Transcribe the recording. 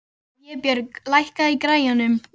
Vébjörg, lækkaðu í græjunum.